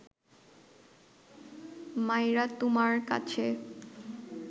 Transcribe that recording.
মাইরা তুমার কাছে